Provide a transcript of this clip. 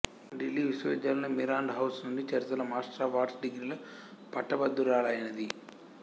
ఢిల్లీ విశ్వవిద్యాలయంలో Miranda House నుండి చరిత్రలో మాస్టర్ ఆఫ్ ఆర్ట్స్ డిగ్రీలో పట్టభద్రురాలైనది